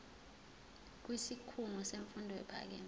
kwisikhungo semfundo ephakeme